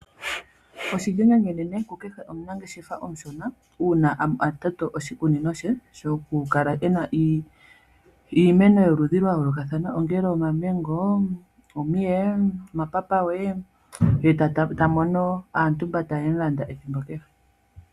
Oshi dhinine uunene, ku kehe omunangeshefa omushona, uuna a toto oshikunino shaye, sho kukala ena iimeno ya yoolokathana ongele omamengo, omiye, omapapawe, ye ta mono aantumboka ta yemu landa ethimbo kehe.